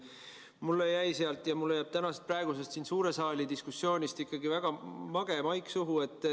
Mulle jäi sealt ja jääb praegusest suure saali diskussioonist ikkagi väga mage maik suhu.